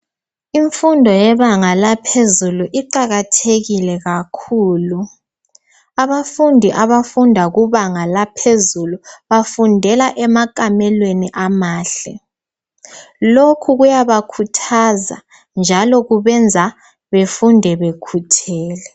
Imfundo yebanga laphezulu iqakathekile kakhulu. Abafundi abafunda ukubanga laphezulu bafundela emakamelweni amahle. Lokhu kuyabakhuthaza njalo kubenza befunde bekhuthele.